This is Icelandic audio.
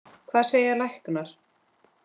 Það segja læknar.